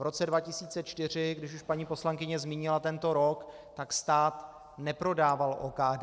V roce 2004, když už paní poslankyně zmínila tento rok, tak stát neprodával OKD.